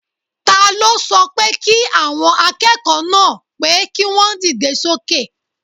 Taló sọ pé kí àwọn akẹ́kọ̀ọ́ náà pé kí wọ́n dìde sókè?